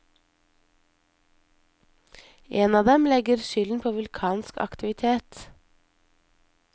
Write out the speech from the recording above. En av dem legger skylden på vulkansk aktivitet.